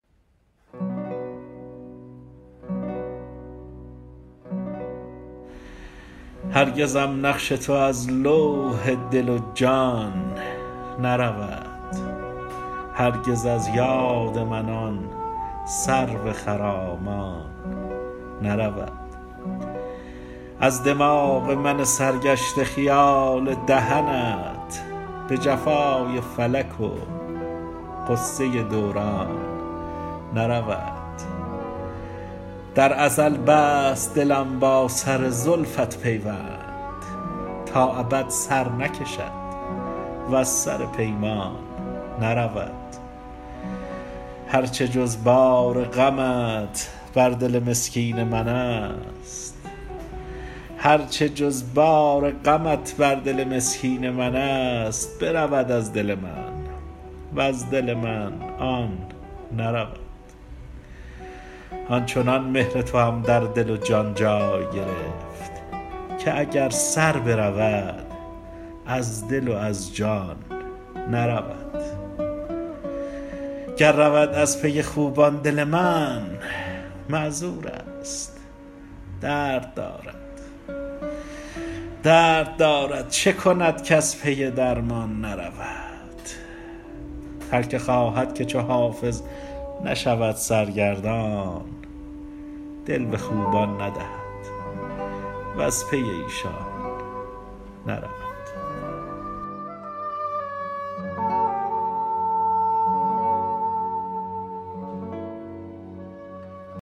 هرگزم نقش تو از لوح دل و جان نرود هرگز از یاد من آن سرو خرامان نرود از دماغ من سرگشته خیال دهنت به جفای فلک و غصه دوران نرود در ازل بست دلم با سر زلفت پیوند تا ابد سر نکشد وز سر پیمان نرود هر چه جز بار غمت بر دل مسکین من است برود از دل من وز دل من آن نرود آن چنان مهر توام در دل و جان جای گرفت که اگر سر برود از دل و از جان نرود گر رود از پی خوبان دل من معذور است درد دارد چه کند کز پی درمان نرود هر که خواهد که چو حافظ نشود سرگردان دل به خوبان ندهد وز پی ایشان نرود